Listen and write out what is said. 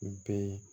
U bɛ